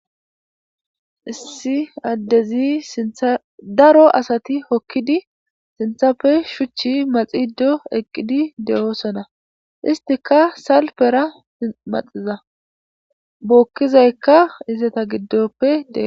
issi addezi sintha daro asati hokkidi sinthappe shuchchi maxido eqqidi de7oosona istika salpera maxiza bookkizaykka izeta giddoppe dee